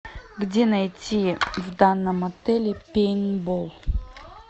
где найти в данном отеле пейнтбол